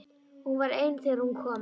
Og hún var ein þegar hún kom.